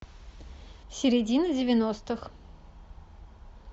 середина девяностых